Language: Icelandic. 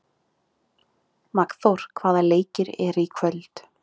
Magnþór, hvaða leikir eru í kvöld?